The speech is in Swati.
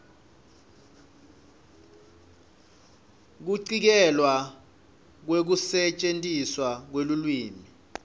kucikelelwa kwekusetjentiswa kwelulwimi